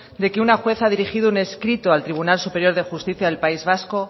de que una jueza ha dirigido un escrito al tribunal superior de justicia del país vasco